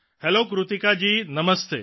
hello Kritika ji Namaste